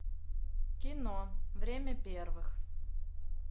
кино время первых